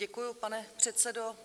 Děkuji, pane předsedo.